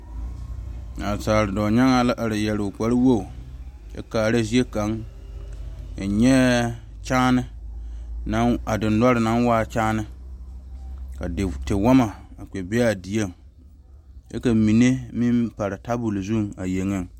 Naasaal dɔɔnyaaŋa la are yɛre o kpare wogi kyɛ kaara zie kaŋ, N nyɛɛ dendɔre naŋ taa kyaane ka tiwoɔmɔ a kpɛ be a dieŋ kyɛ ka mine meŋ pare tabol zu a yeŋɛ